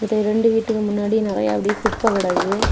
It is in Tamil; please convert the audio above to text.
இந்த ரெண்டு வீட்டுக்கு முன்னாடி நிறைய அப்டியே குப்பை கிடையாது.